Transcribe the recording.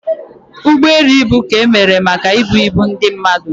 Ụgbọ elu ibu ka emere maka ibu ibu ndị mmadụ